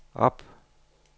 op